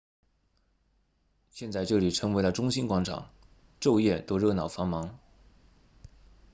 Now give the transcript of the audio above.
现在这里成为了中心广场昼夜都热闹繁忙